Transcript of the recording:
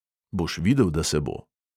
Boš videl, da se bo.